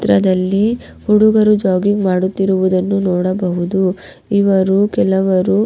ಚಿತ್ರದಲ್ಲಿ ಹಡುಗರು ಜಾಗಿಂಗ್ ಮಾಡುತ್ತಿರುವುದನ್ನು ನೋಡಬಹುದು ಇವರು ಕೆಲವರು.